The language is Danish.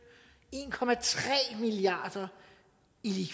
en milliard kroner i